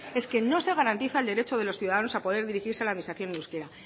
es que no se garantizar el derecho de los ciudadanos a poder dirigirse a la administración en euskera